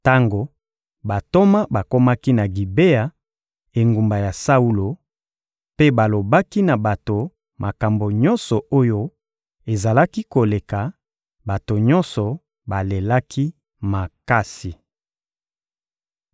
Tango bantoma bakomaki na Gibea, engumba ya Saulo, mpe balobaki na bato makambo nyonso oyo ezalaki koleka, bato nyonso balelaki makasi.